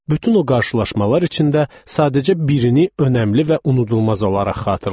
Bütün o qarşılaşmalar içində sadəcə birini önəmli və unudulmaz olaraq xatırlayıram.